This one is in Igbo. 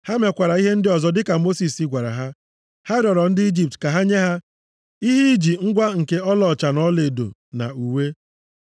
Ha mekwara ihe ndị ọzọ dịka Mosis gwara ha. Ha rịọrọ ndị Ijipt ka ha nye ha ihe iji ngwa nke ọlaọcha na ọlaedo, na uwe.